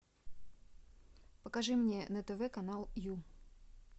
покажи мне на тв канал ю